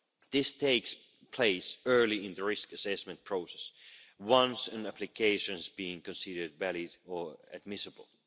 This takes place early in the risk assessment process once an the application has been considered valid or admissible.